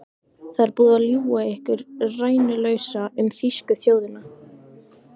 Það er búið að ljúga ykkur rænulausa um þýsku þjóðina.